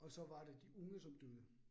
Og så var det de unge, som døde